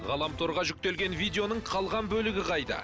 ғаламторға жүктелген видеоның қалған бөлігі қайда